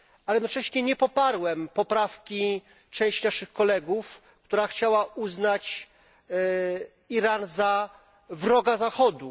Jednocześnie nie poparłem poprawki części naszych kolegów, która chciała uznać Iran za wroga Zachodu.